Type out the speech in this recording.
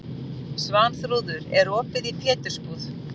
Svanþrúður, er opið í Pétursbúð?